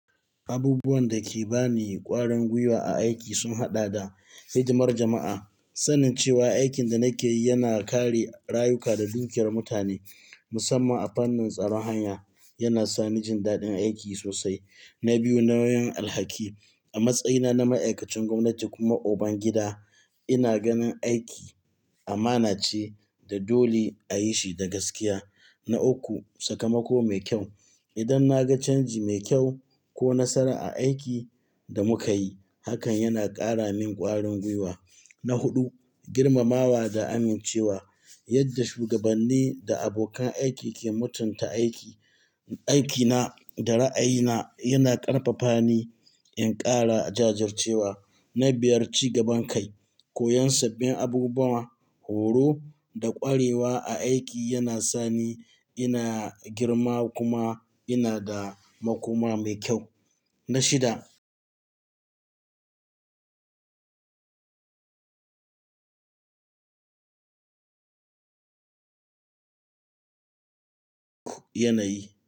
Abubuwan da ke ba ni ƙwarin gwiwa a aiki sun haɗa da hidimar jama'a. Sanin cewa aikin da nake yi yana kare rayuka da dukiyar mutane, musamman a fannin tsaron hanya, yana sa ni jin daɗin aiki sosai. Na biyu, nauyin alhaki. A matsayina na ma'aikacin gwamnati kuma uban gida, ina ganin aiki amana ce, da dole ayi shi da gaskiya. Na uku, sakamako mai kyau. Idan na ga canji mai kyau ko nasara a aikin da muka yi, hakan yana ƙara min ƙwarin gwiwa. Na huɗu, girmamawa da amincewa. Yadda shugabanni da abokan aiki ke mutunta aiki, aikina da ra'ayina yana ƙarfafa ni in ƙara jajircewa. Na biyar, ci gaban kai. Koyon sabbin abubuwa, horo, da ƙwarewa a aiki yana sa ni ina girma kuma ina da makoma mai kyau. Na shida, yana yi.